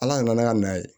Ala nana n'a ka na ye